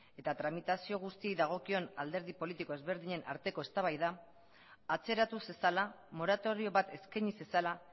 eta tramitazio guztiei dagokion alderdi politiko ezberdinen arteko eztabaida atzeratu zezala moratorio bat eskaini zezala